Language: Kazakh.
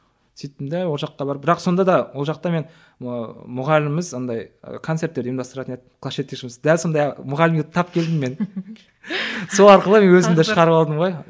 сөйттім де ол жаққа барып бірақ сонда да ол жақта мен ыыы мұғаліміміз андай ы концерттер ұйымдастыратын еді класс жетекшіміз дәл сондай мұғалімге тап келдім мен сол арқылы мен өзімді шығарып алдым ғой